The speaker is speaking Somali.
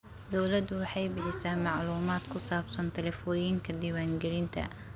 Dawladdu waxay bixisaa macluumaadka ku saabsan tallaabooyinka diiwaangelinta.